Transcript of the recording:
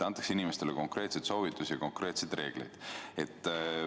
Antakse inimestele konkreetseid soovitusi ja kehtestatakse konkreetseid reegleid.